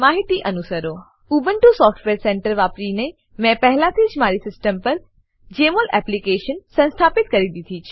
Ubuntu software centre Ubuntu software centre વાપરીને મેં પહેલાથી જ મારી સીસ્ટમ પર જમોલ એપ્લીકેશન સંસ્થાપિત કરી દીધી છે